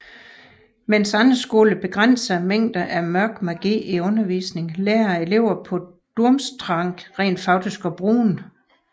Mens andre skoler begrænser mængden af Mørk Magi i undervisningen lærer eleverne på Durmstrang rent faktisk at bruge den